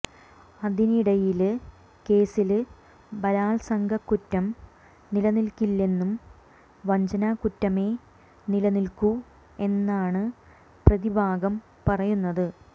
അതിനിടയില് കേസില് ബലാത്സംഗക്കുറ്റം നില നില്ക്കില്ലെന്നും വഞ്ചനാകുറ്റമേ നില നില്ക്കു എന്നാണ് പ്രതിഭാഗം പറയുന്നത്